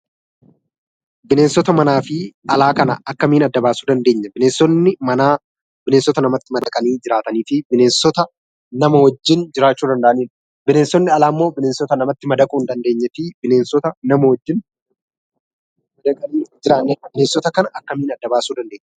Bineensota manaa fi alaa kana akkamiin adda baasuu dandeenya? bineensonni manaa bineensota namatti madaqanii jiraataniifi bineensota nama wajjin jiraachuu danda'anidha. Bineensonni alaammoo bineensota kan namatti madaquu hin dandeenyefi nama wajjin madaqanii hin jiraannee bineensota kana akkamiin adda baasuu dandeenya?